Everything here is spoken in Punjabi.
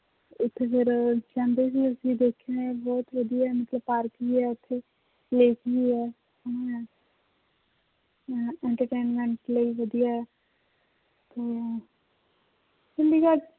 ਉੱਥੇ ਫਿਰ ਕਹਿੰਦੇ ਵੀ ਅਸੀਂ ਦੇਖਿਆ ਹੈ ਬਹੁਤ ਵਧੀਆ ਮਤਲਬ ਪਾਰਕ ਵੀ ਹੈ ਉੱਥੇ lake ਵੀ ਹੈ entertainment ਲਈ ਵਧੀਆ ਹੈ ਤੇ ਚੰਡੀਗੜ੍ਹ